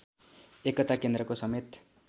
एकता केन्द्रको समेत